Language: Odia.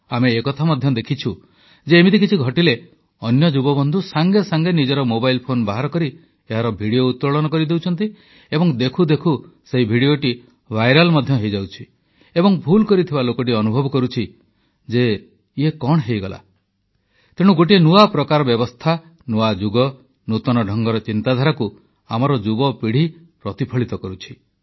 ଆମେ ଏ କଥା ମଧ୍ୟ ଦେଖୁଛୁ ଯେ ଏମିତି କିଛି ଘଟିଲେ ଅନ୍ୟ ଯୁବବନ୍ଧୁ ସଙ୍ଗେ ସଙ୍ଗେ ନିଜର ମୋବାଇଲ୍ ଫୋନ୍ ବାହାର କରି ଏହାର ଭିଡିଓ ଉତ୍ତୋଳନ କରିଦେଉଛନ୍ତି ଏବଂ ଦେଖୁ ଦେଖୁ ସେହି ଭିଡିଓଟି ଭାଇରାଲ ମଧ୍ୟ ହୋଇଯାଉଛି ଏବଂ ଭୁଲ କରିଥିବା ଲୋକଟି ଅନୁଭବ କରୁଛି ଯେ ଇଏ କଣ ହେଇଗଲା ତେଣୁ ଏକ ନୂଆ ପ୍ରକାର ବ୍ୟବସ୍ଥା ନୂଆ ଯୁଗ ନୂତନ ଢଙ୍ଗର ଚିନ୍ତାଧାରାକୁ ଆମର ଯୁବପିଢ଼ି ପ୍ରତିଫଳିତ କରୁଛି